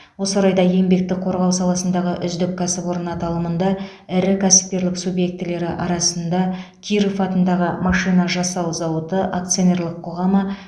осы орайда еңбекті қорғау саласындағы үздік кәсіпорын аталымында ірі кәсіпкерлік субъектілері арасында киров атындағы машина жасау зауыты акционерлік қоғамы